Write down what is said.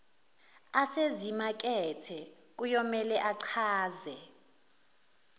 asezimakethe kuyomele achaze